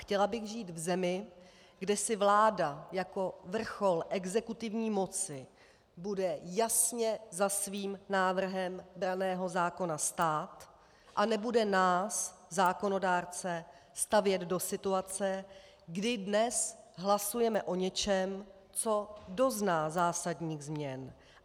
Chtěla bych žít v zemi, kde si vláda jako vrchol exekutivní moci bude jasně za svým návrhem branného zákona stát a nebude nás zákonodárce stavět do situace, kdy dnes hlasujeme o něčem, co dozná zásadních změn.